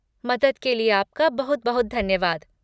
मदद के लिए आपका बहुत बहुत धन्यवाद।